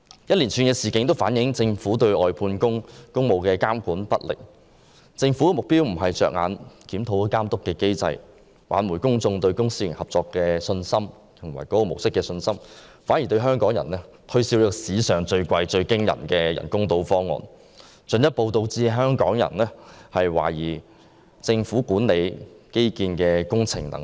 一連串事件均反映政府對外判工務監管不力，政府不是着眼於檢討監督機制，挽回公眾對公私營合作模式的信心，反而向香港人推銷史上最昂貴的人工島方案，進一步導致香港人懷疑政府管理基建工程的能力。